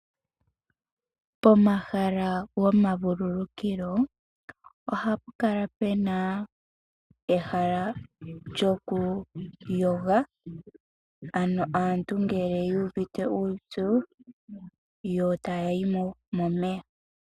Pomahala gomavulukukilo ohapu kala pe na ehala lyokuyoga, ano aantu ngele yu uvite uupyu yo taya yi mo momeya.